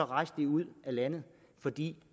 rejste ud af landet fordi